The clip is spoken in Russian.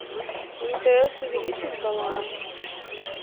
мтс увеличить баланс